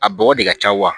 A bɔgɔ de ka ca wa